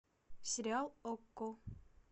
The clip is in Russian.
сериал окко